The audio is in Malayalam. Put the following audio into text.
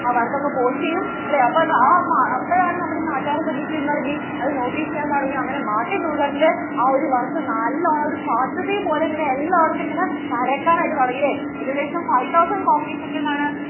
ആ work ഒക്കെ post ചെയ്യും അല്ലെ അപ്പോഴാണ് നമ്മുടെ നാട്ടുകാരൊക്കെ എന്ത് ചെയ്യാൻ തുടങ്ങി അത് notice ചെയ്യാൻ തുടങ്ങി അങ്ങനെ MartinLuther ന്‍റെ ആ ഒരു work നല്ലോണം അങ്ങട് കാട്ടുതീ പോലെ ഇങ്ങനെ എല്ലായിടത്തും ഇങ്ങനെ പരക്കാൻ ആയിട്ട് തുടങ്ങി അല്ലേ ഏകദേശം five thousandcopies ഒക്കെ എന്താണ്